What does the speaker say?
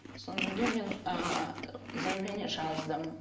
содан кейін мен ыыы заявление жаздым